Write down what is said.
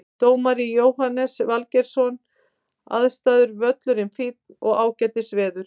Dómari Jóhannes Valgeirsson Aðstæður Völlurinn fínn og ágætis veður.